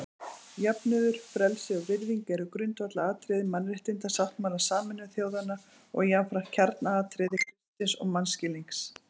Jöfnuður, frelsi og virðing eru grundvallaratriði Mannréttindasáttmála Sameinuðu þjóðanna og jafnframt kjarnaatriði kristins mannskilnings.